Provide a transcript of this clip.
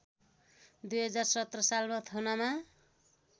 २०१७ सालमा थुनामा